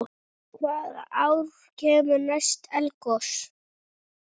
Hvaða ár kemur næst eldgos?